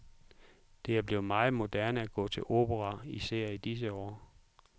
Det er blevet meget moderne at gå til opera, især i disse år.